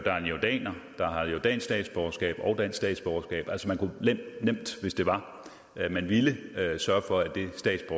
er en jordaner der har jordansk statsborgerskab og dansk statsborgerskab altså man kunne nemt hvis det var det man ville sørge for at det